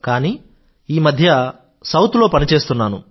కానీ ఈ మధ్య సౌత్ లో పని చేస్తున్నాను